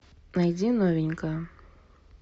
найди новенькое